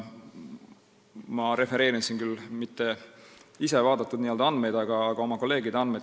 Ma ei refereeri siin küll neid andmeid, mida ma ise vaatasin, vaid oma kolleegide andmeid.